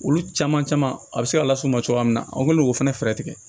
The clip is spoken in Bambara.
Olu caman caman a bɛ se ka las'u ma cogoya min na an kɛlen k'o fana fɛɛrɛ tigɛ